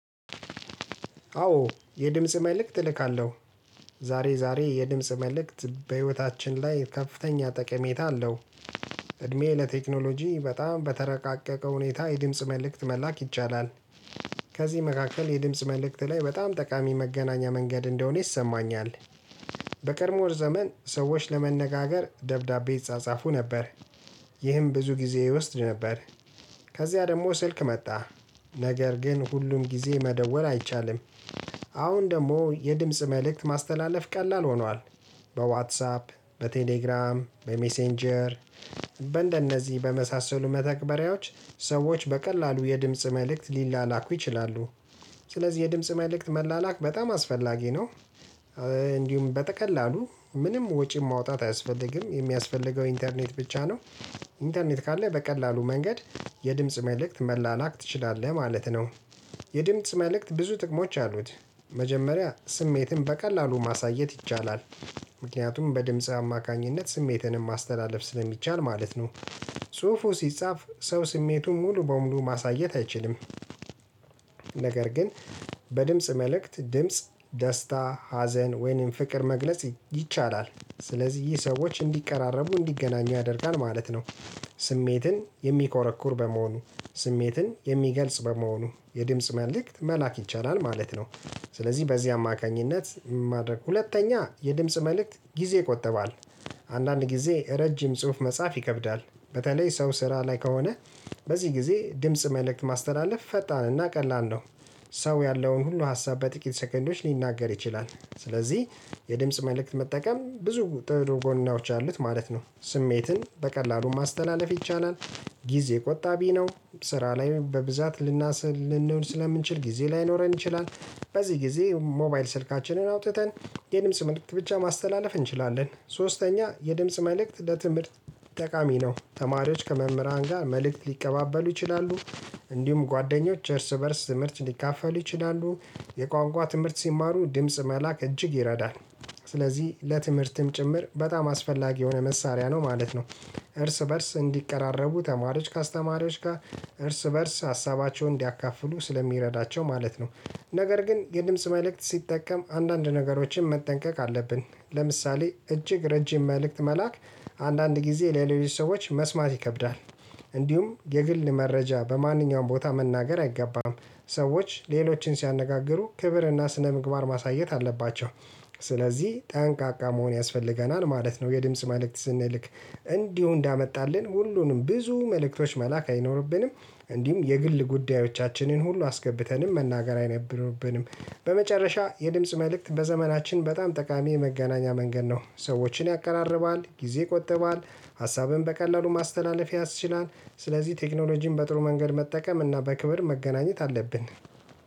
አዎ የድምጽ መልእክት እልካለሁ ዛሬ ዛሬ የድምጽ መልእክት በህይወታችን ላይ ከፍተኛ ጠቀሜታ አለው እድሜ ለቴክኖሎጂ በጣም በተረቃቀቀው ሁኔታ የድምጽ መልእክት መላክ ይቻላል ከዚህ መካከል የድምጽ መልእክት ላይ በጣም ጠቃሚ መገናኛ መንገድ እንደሆነ ይሰማኛል በቀድሞ ዘመን ሰዎች ለመነጋገር ደብዳቤ ይጻጻፉ ነበር ይህም ብዙ ጊዜ ይወስድ ነበር ከዚያ ደግሞ ስልክ መጣ ነገር ግን ሁሉም ጊዜ መደወል አይቻልም። አሁን ደግሞ የድምጽ መልእክት ማስተላለፍ ቀላል ሆኗል በዋትሳፕ በቴሌግራም በሜሴንጀር በእንደነዚህ በመሳሰሉ መተግበሪያዎች ሰዎች በቀላሉ የድምጽ መልእክት ሊላኩ ይችላሉ ስለዚህ የድምጽ መልእክት መላላክበጣም አስፈላጊ ነው እንዲሁም በቀላሉ ምንም ወጪ ማውጣት አያስፈልግም የሚያስፈልገው ኢንተርኔት ብቻ ነው ኢንተርኔት ካለ በቀላሉ መንገድ የድምጽ መልእክት መላላክ ትችላለህ ማለት ነው የድምጽ መልእክት ብዙ ጥቅሞች አሉት መጀመሪያ ስሜትን በቀላሉ ማሳየት ይቻላል። ምክንያቱም በድምጽ አማካኝነት ስሜትንም ማስተላለፍ ስለሚቻል ማለት ነው። ጽሁፉ ሲጻፍ ሰው ስሜቱን ሙሉ በሙሉ ማሳየት አይችልም ነገር ግን በድምጽ መልእክት ድምጽ ደስታ ሀዘን ወይንም ፍቅር መግለጽ ይ ይቻላል ስለዚህ ይህ ሰዎች እንዲቀራረቡ እንዲገናኙ ያደርጋል ማለት ነው። ስሜትን የሚኮረኩር በመሆኑ ስሜትን የሚገልጽ በመሆኑ የድምጽ መልእክት መላክ ይቻላል ማለት ነው። ስለዚህ በዚህ አማካኝነት ማድረግ ሁለተኛ የድምጽ መልእክት ጊዜ ይቆጠባል አንዳንድ ጊዜ ረጅም ጽሁፍ መጻፍ ይከብዳል በተለይ ሰው ስራ ላይ ከሆነ በዚህ ጊዜ ድምጽ መልእክት ማስተላለፍ ፈጣንና ቀላል ነው ሰው ያለውን ሁሉ ሀሳብ በጥቂት ሰከንዶች ሊናገር ይችላል ስለዚህ የድምጽ መልእክት መጠቀም ብዙ ጥሩ ጎናዎች አሉት ማለት ነው ስሜትን በቀላሉ ማስተላለፍ ይቻላል ጊዜ ቆጣቢ ነው ስራ ላይ በብዛት ልናስል ልንሆን ስለምንችል ጊዜ ላይኖረን ይችላል በዚህ ጊዜ ሞባይል ስልካችንን አውጥተን የድምጽ መልእክት ብቻ ማስተላለፍ እንችላለን ሶስተኛ የድምጽ መልእክት ለትምህርት ጠቃሚ ነው ተማሪዎች ከመምህራን ጋር መልእክት ሊቀባበሉ ይችላሉ እንዲሁም ጓደኞች እርስ በእርስ ትምህርት ሊካፈል ይችላሉ የቋንቋ ትምህርት ሲማሩ ድምጽ መላክ እጅግ ይረዳል ስለዚህ ለትምህርትም ጭምር በጣም አስፈላጊ የሆነ መሳሪያ ነው ማለት ነው እርስ በእርስ እንዲቀራረቡ ተማሪዎች ከአስተማሪዎች ጋር እርስ በእርስ ሀሳባቸውን እንዲያካፍሉ ስለሚረዳቸው ማለት ነው ነገር ግን የድምጽ መልእክት ሲጠቀም አንዳንድ ነገሮችን መጠንቀቅ አለብን ለምሳሌ እጅግ ረጅም መልእክት መላክ አንዳንድ ጊዜ ለሌሎች ሰዎች መስማት ይከብዳል እንዲሁም የግል መረጃ በማንኛውም ቦታ መናገር አይገባም ሰዎች ሌሎችን ሲያነጋግሩ ክብርና ስነምግባር ማሳየት አለባቸው! ስለዚህ ጠንቃቃ መሆን ያስፈልገናል ማለት ነው የድምጽ መልእክት ስንልክ እንዲሁ እንዳመጣልን ሁሉንም ብዙ መልእክቶች መላክ አይኖርብንም እንዲሁም የግል ጉዳዮቻችንን ሁሉ አስገብተንም መናገር አይነብንብንም በመጨረሻ የድምጽ መልእክት በዘመናችን በጣም ጠቃሚ የመገናኛ መንገድ ነው ሰዎችን ያቀራርባል ጊዜ ቆጥቧል ሀሳብን በቀላሉ ማስተላለፍ ያስችላል ስለዚህ ቴክኖሎጂን በጥሩ መንገድ መጠቀም እና በክብር መገናኘት አለብን